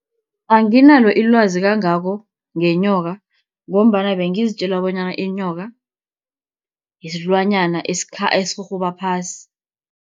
Anginalo ilwazi kangako ngenyoka, ngombana bengizitjela bonyana inyoka silwanyana esirhurhuba phasi.